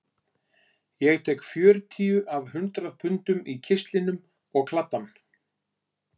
Ég tek fjörutíu af hundrað pundunum í kistlinum og kladdann